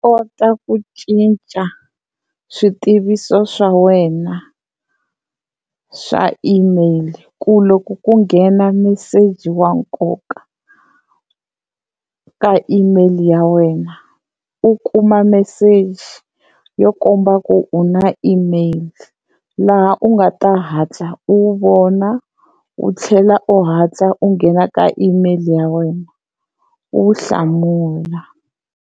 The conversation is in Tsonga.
ku cinca swi tiviso swa wena swa email ku loko ku nghena meseji wa nkoka ka email ya wena u kuma meseji yo komba ku u na email laha u nga ta hatla u vona u tlhela u hatla u nghena ka email ya wena u wu hlamula.